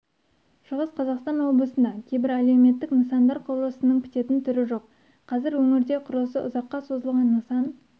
шығыс қазақстан облысында кейбір әлеуметтік нысандар құрылысының бітетін түрі жоқ қазір өңірде құрылысы ұзаққа созылған нысан